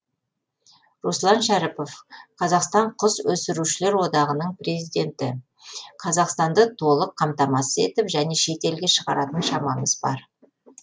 руслан шәріпов қазақстан құс өсірушілер одағының президенті қазақстанды толық қамтамасыз етіп және шет елге шығаратын шамамыз бар